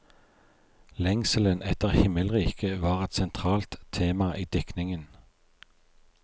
Lengselen etter himmelriket var et sentralt tema i diktningen.